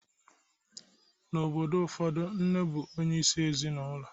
N'obodo ụfọdụ, nne bụ onyeisi ezinụlọ